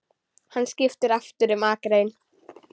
Hann skipti aftur um akrein.